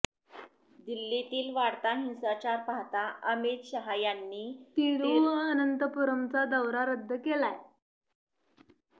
दिल्लीतील वाढता हिंसाचार पाहता अमित शहा यांनी तिरुवनंतपूरमचा दौरा रद्द केलाय